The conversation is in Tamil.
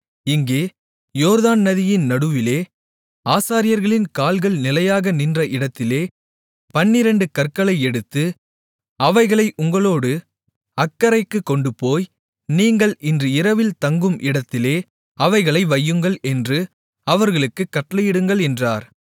இங்கே யோர்தான் நதியின் நடுவிலே ஆசாரியர்களின் கால்கள் நிலையாக நின்ற இடத்திலே பன்னிரண்டு கற்களை எடுத்து அவைகளை உங்களோடு அக்கரைக்குக் கொண்டுபோய் நீங்கள் இன்று இரவில் தங்கும் இடத்திலே அவைகளை வையுங்கள் என்று அவர்களுக்குக் கட்டளையிடுங்கள் என்றார்